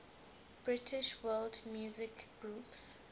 british world music groups